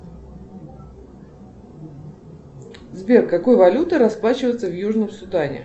сбер какой валютой расплачиваются в южном судане